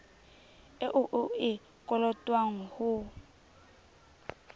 eo o e kolotwang ho